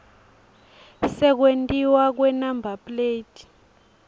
sekwentiwa kwenumber plate